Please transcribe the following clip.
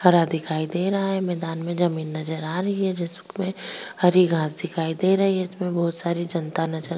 हरा दिखाई दे रहा है मैदान में जमीन नजर आ रही है जिसमें हरी घास दिखाई दे रही है जिसमें बहुत सारी जनता नजर --